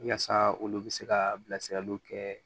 Yaasa olu bɛ se ka bilasiraliw kɛ